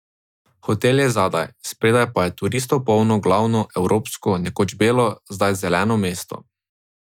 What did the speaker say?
Hotel je zadaj, spredaj pa je turistov polno glavno, evropsko, nekoč belo, zdaj zeleno mesto.